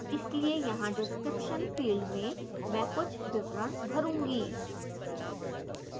इसलिए यहाँ description field में मैं कुछ विवरण भरूँगी